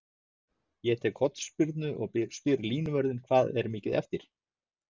Ég tek hornspyrnu og spyr línuvörðinn hvað er mikið eftir?